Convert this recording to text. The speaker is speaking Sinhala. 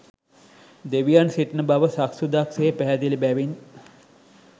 දෙවියන් සිටින බව සක්සුදක් සේ පැහැදිලි බැවින්